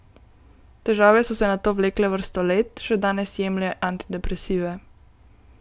Težave so se nato vlekle vrsto let, še danes jemlje antidepresive.